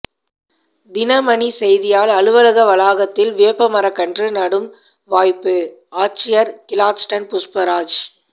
தினமணி செய்தியால் அலுவலக வளாகத்தில் வேப்ப மரக்கன்று நடும் வாய்ப்புஆட்சியா் கிளாட்ஸ்டன் புஷ்பராஜ்